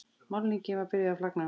Málningin var byrjuð að flagna.